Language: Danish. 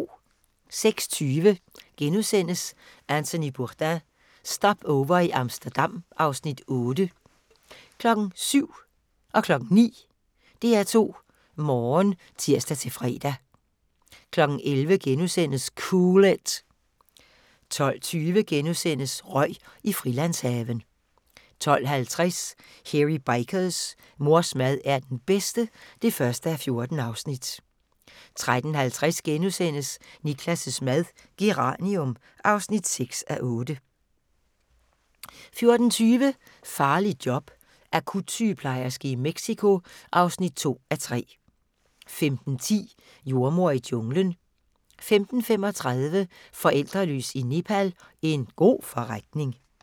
06:20: Anthony Bourdain – Stopover i Amsterdam (Afs. 8)* 07:00: DR2 Morgen (tir-fre) 09:00: DR2 Morgen (tir-fre) 11:00: Cool it * 12:20: Røg i Frilandshaven * 12:50: Hairy Bikers: Mors mad er den bedste (1:14) 13:50: Niklas' mad - Geranium (6:8)* 14:20: Farligt job – akutsygeplejerske i Mexico (2:3) 15:10: Jordemoder i junglen 15:35: Forældreløs i Nepal – en god forretning